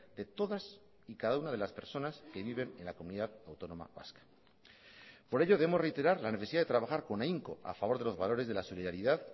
de todas y cada una de las personas que viven en la comunidad autónoma vasca por ello debemos reiterar la necesidad de trabajar con ahínco a favor de los valores de la solidaridad